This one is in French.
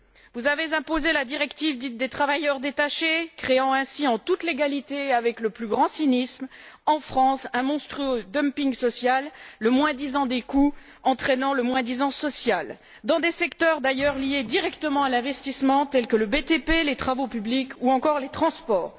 Vous avez imposé la directive dite des travailleurs détachés, créant ainsi en toute légalité et avec le plus grand cynisme, en France, un monstrueux dumping social, le moins disant au regard des coûts entraînant le moins disant sur le plan social dans des secteurs d'ailleurs directement liés à l'investissement, tels que le BTP, les travaux publics ou encore les transports.